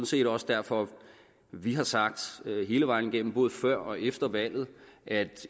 set også derfor vi har sagt hele vejen igennem både før og efter valget at